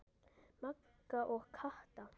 Magga og Kata.